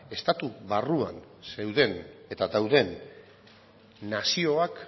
estatu barruan zeuden eta dauden nazioak